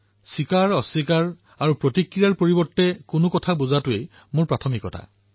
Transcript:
স্বীকাৰঅস্বীকাৰ আৰু প্ৰতিক্ৰিয়াসমূহৰ পৰিৱৰ্তে কোনো এটা কথা বুজি পোৱাটো মোৰ প্ৰাথমিকতা